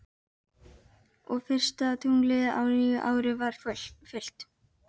Og fyrsta tunglið á nýju ári var fullt.